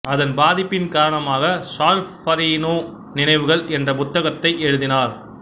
அதன் பாதிப்பின் காரணமாக சால்ஃபரீனோ நினைவுகள் என்ற புத்தகத்தை எழுதினார்